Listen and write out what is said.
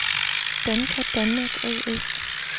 Danka Danmark A/S